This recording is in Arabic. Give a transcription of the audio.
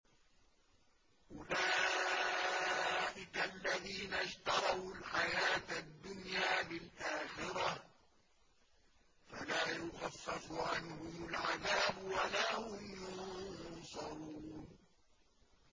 أُولَٰئِكَ الَّذِينَ اشْتَرَوُا الْحَيَاةَ الدُّنْيَا بِالْآخِرَةِ ۖ فَلَا يُخَفَّفُ عَنْهُمُ الْعَذَابُ وَلَا هُمْ يُنصَرُونَ